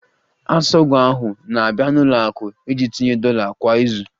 Asogwa ahụ na-abịa n'ụlọ akụ iji tinye dollar kwa izu